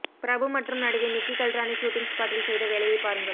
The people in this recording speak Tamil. பிரபு மற்றும் நடிகை நிக்கி கல்ராணி ஷீட்டிங் ஸ்பாட்டில் செய்த வேலையை பாருங்கள்